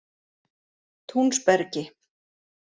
Túnsbergi